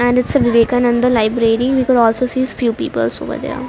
And it's a Vivekananda library. We could also sees few peoples over there.